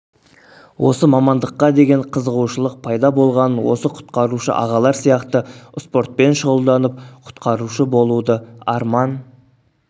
осы мамандыққа деген қызығушылық пайда болғанын осы құтқарушы ағалар сияқты спортпен шұғылданып құтқарушы болуды арман